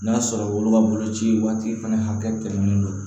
N'a sɔrɔ olu ka boloci waati fɛnɛ hakɛ tɛmɛnnen don